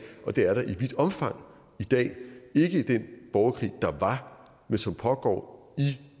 og det er der i vidt omfang i dag ikke i den borgerkrig der var men som pågår i